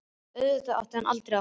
Auðvitað átti hann aldrei að fara.